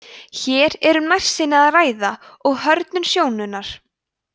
hér er um nærsýni að ræða og hrörnun sjónunnar